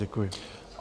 Děkuji.